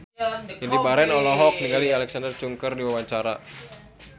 Indy Barens olohok ningali Alexa Chung keur diwawancara